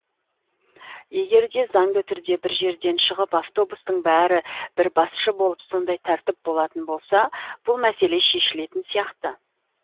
егер де заңды түрде бір жерден шығып автобустың бәрі бір басшы болып сондай тәртіп болатын болса бұл мәселе шешілетін сияқты